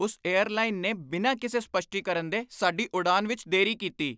ਉਸ ਏਅਰਲਾਈਨ ਨੇ ਬਿਨਾਂ ਕਿਸੇ ਸਪੱਸ਼ਟੀਕਰਨ ਦੇ ਸਾਡੀ ਉਡਾਣ ਵਿੱਚ ਦੇਰੀ ਕੀਤੀ।